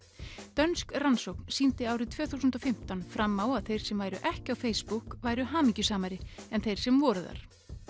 dönsk rannsókn sýndi árið tvö þúsund og fimmtán fram á að þeir sem væru ekki á Facebook væru hamingjusamari en þeir sem voru þar